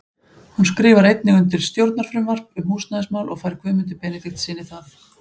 Hún skrifar einnig undir stjórnarfrumvarp um húsnæðismál og fær Guðmundi Benediktssyni það.